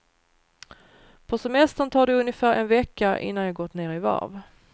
På semestern tar det ungefär en vecka innan jag gått ner i varv.